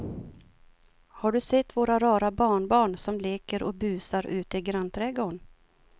Har du sett våra rara barnbarn som leker och busar ute i grannträdgården!